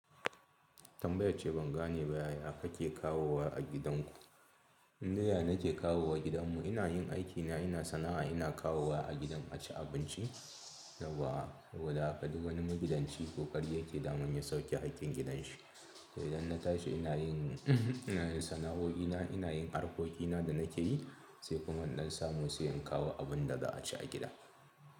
Tambayar ce ban gane ba, ya ka ke kawowa a gidanku? In dai ya nake kawowa gidanmu. Ina yin aikina, ina sana'a, ina kawowa a gidan abinci. Yauwa. Saboda haka, duk wani magidanci ƙoƙari yake daman ya sauke haƙƙin gidan shi. Sai idan na tashi ina yin, ina yin sana'o'ina, ina yin harkokina da na ke yi, sai kuma in ɗan samu sai in kawo abin da za a ci a gida.